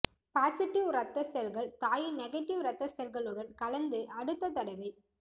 positive ரத்த செல்கள் தாயின் நெகட்டிவ் ரத்த செல்களுடன் கலந்து அடுத்த தடவை